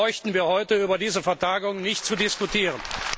Dann bräuchten wir heute über diese Vertagung nicht zu diskutieren.